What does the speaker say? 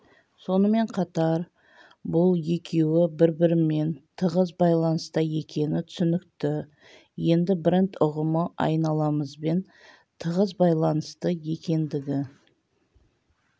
сонымен қатар бұл екеуі бір-бірімен тығыз байланыста екені түсінікті енді бренд ұғымы айналамызбен тығыз байланысты екендігі